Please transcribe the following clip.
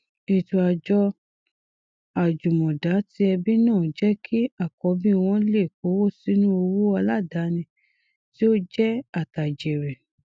ètò àjọ àjùmọdá ti ẹbí náà jẹ kí àkọbí wọn lè kówósínú òwò aládàáni tí ó jẹ àtàjèrè